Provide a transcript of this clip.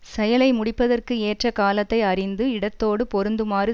செயலை முடிப்பதற்கு ஏற்ற காலத்தை அறிந்து இடத்தோடு பொருந்துமாறு